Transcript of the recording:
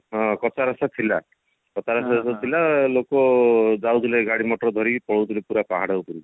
ହଁ କଚ୍ଚା ରାସ୍ତା ଥିଲା କଚ୍ଚା ରାସ୍ତା ଥିଲା ଲୋକ ଯାଉଥିଲେ ଗାଡି ମଟର ଧରିକି ପଳୋଉ ଥିଲେ ପୁରା ପାହାଡ ଉପରକୁ